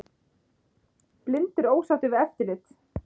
Blindir ósáttir við eftirlit